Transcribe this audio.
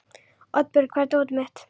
Oddbjörg, hvar er dótið mitt?